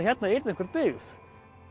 hérna yrði einhver byggð